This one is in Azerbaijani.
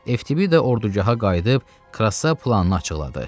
Ftibi də ordugaha qayıdıb Krassa planını açıqladı.